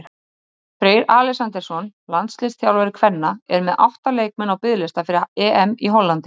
Boltinn var fastur og Skarphéðinn kom engum vörnum við er hann endaði í netmöskvunum.